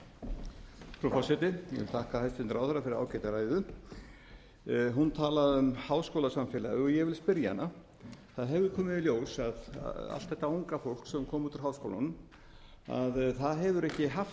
vil þakka hæstvirtum ráðherra fyrir ágæta ræðu hún talaði um háskólasamfélagið ég vil spyrja hana það hefur komið í ljós að allt þetta unga fólk sem kom út úr háskólunum það hefur ekki haft